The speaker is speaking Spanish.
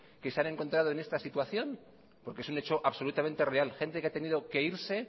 que se han encontrado en esta situación porque es un hecho absolutamente real gente que ha tenido que irse